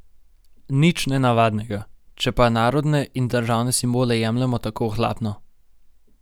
Nič nenavadnega, če pa narodne in državne simbole jemljemo tako ohlapno.